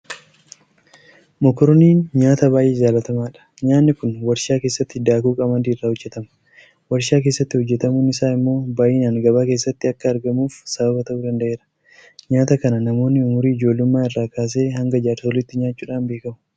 Mokorooniin nyaata baay'ee jaalatamaadha. Nyaanni kun warshaa keessatti daakuu qamadii irraa hojjetama. Warshaa keessatti hojjetamuun isaa immoo baay'inaan gabaa keessatti akka argamuuf sababa ta'uu danda'eera. Nyaata kana namoonni umurii ijoollummaa irraa kaasee hanga jaarsoliitti nyaachuudhaan beekamu.